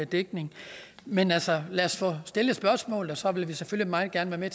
dækning men altså lad os få stillet spørgsmål og så vil vi selvfølgelig meget gerne være